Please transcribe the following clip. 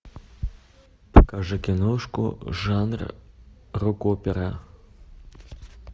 покажи киношку жанр рок опера